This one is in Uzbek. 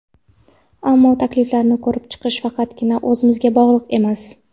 Ammo takliflarni ko‘rib chiqish faqatgina o‘zimga bog‘liq emas.